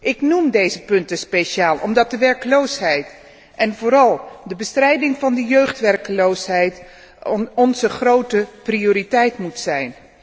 Ik noem deze punten speciaal, omdat de werkloosheid en vooral de bestrijding van de jeugdwerkloosheid onze grote prioriteit moet zijn.